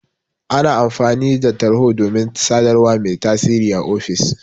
Ana amfani da Tarho domin sadarwa mai tasiri a ofis.